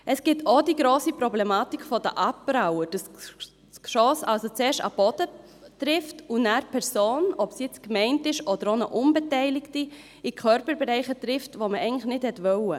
Es gibt auch die grosse Problematik der Abpraller, dass das Geschoss also erst auf den Boden trifft und danach die Person, ob sie jetzt gemeint war oder eine unbeteiligte ist, an Körperbereichen trifft, die man eigentlich nicht treffen wollte.